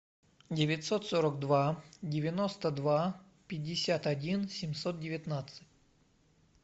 девятьсот сорок два девяносто два пятьдесят один семьсот девятнадцать